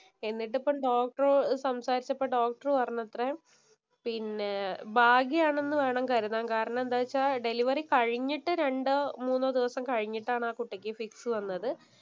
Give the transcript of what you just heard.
എന്നിട്ട് ഇപ്പം ഡോക്ടര്‍ സംസാരിച്ചപ്പോ അപ്പൊ ഡോക്ടര്‍ പറഞ്ഞത്രേ. പിന്നെ ഭാഗ്യമാണെന്ന് വേണം കരുതാൻ. കാരണം എന്താന്ന് വെച്ചാ ഡെലിവറി കഴിഞ്ഞിട്ട് രണ്ടോ, മൂന്നോ ദിവസം കഴിഞ്ഞിട്ടാണ് ആ കുട്ടിക്ക് ഫിക്സ് വന്നത്.